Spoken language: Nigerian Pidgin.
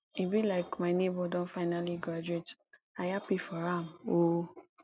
e be like my nebor don finally graduate i happy for am o